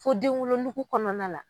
Fo den wolonugu kɔnɔna la.